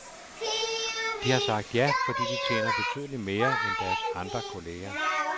De har sagt ja, fordi de tjener betydeligt mere end deres andre kolleger.